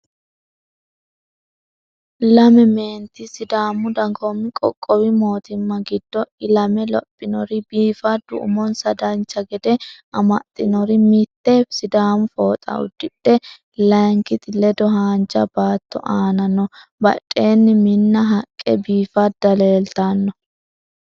Lame meenti sidaamu dagoomi qoqqowi mootimma giddo ilame lophinori biifaddu umonsa dancha gede amaxxinori mitte sidaamu fooxa uddidhe lankite ledo haanja baatto aana no. Badheenni Minna haqqe biifadda leeltanno.